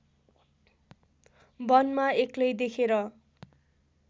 वनमा एक्लै देखेर